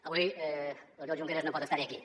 avui l’oriol junqueras no pot estar aquí